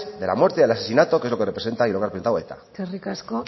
de la muerte y el asesinato que es lo que representa y lo que ha eta eskerrik asko